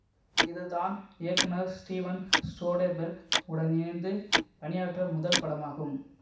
இது தான் இயக்குநர் ஸ்டீவன் சோடெபெர்க் உடன் இணைந்து பணியாற்ற முதல் படமாகும்